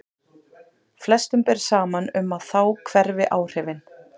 Flestum ber saman um að þá hverfi áhrifin.